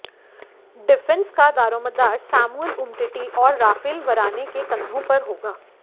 defence का दारोमदार Samuel Umtiti और राफेल वराने के कंधों पर होगा